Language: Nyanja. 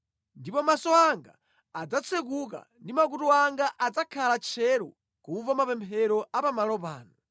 Ndipo maso anga adzatsekuka ndi makutu anga adzakhala tcheru kumva mapemphero a pamalo pano.